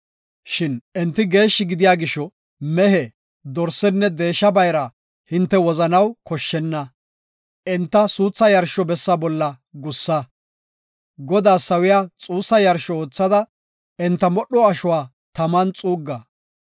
Shin enti geeshshi gidiya gisho mehe, dorsenne deesha bayra hinte wozanaw koshshenna. Enta suutha yarsho bessa bolla gussa; Godaas sawiya xuussa yarsho oothada enta modho ashuwa taman xuugga.